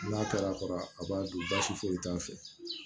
N'a kɛr'a kɔrɔ a b'a dun basi foyi t'a fɛ